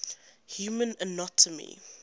human anatomy